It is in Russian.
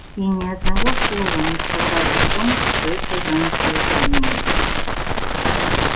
и ни одного слова не сказал о том что это за наслаждение